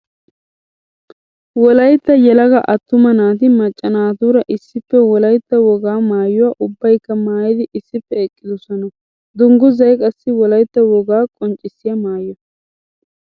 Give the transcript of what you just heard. Wolaytta yelaga atuma naati maca naatura issippe wolaytta wogaa maayuwa ubbaykka maayiddi issippe eqqidosonna. Dungguzay qassi wolaytta wogaa qonccissiya maayo.